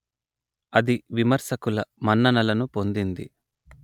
అది విమర్శకుల మన్ననలు పొందింది